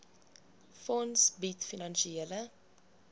fonds bied finansiële